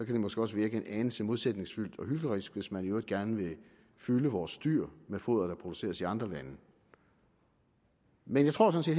det måske også virke en anelse modsætningsfyldt og hyklerisk hvis man i øvrigt gerne vil fylde vores dyr med foder der produceres i andre lande men jeg tror sådan